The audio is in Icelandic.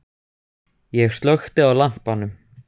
Ég slökkti á lampanum.